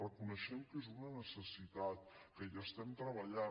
reconeixem que és una necessitat que hi estem treballant